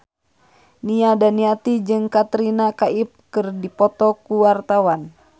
Nia Daniati jeung Katrina Kaif keur dipoto ku wartawan